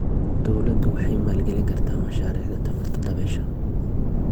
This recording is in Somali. Dawladdu waxay maalgelin kartaa mashaariicda tamarta dabaysha.